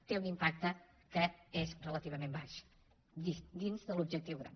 té un impacte que és relativament baix dins de l’objectiu gran